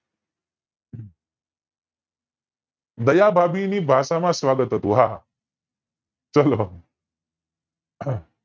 બધી ભાષા માં સ્વાગત હતું હા હા ચલો આહ